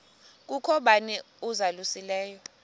kukho bani uzalusileyo